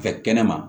Fɛ kɛnɛma